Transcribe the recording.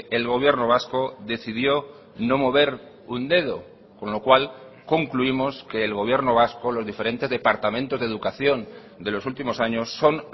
el gobierno vasco decidió no mover un dedo con lo cual concluimos que el gobierno vasco los diferentes departamentos de educación de los últimos años son